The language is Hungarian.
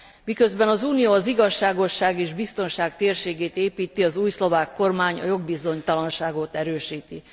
Miközben az Unió az igazságosság és biztonság térségét építi, az új szlovák kormány a jogbizonytalanságot erősíti.